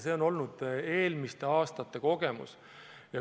See on olnud eelmiste aastate kogemus.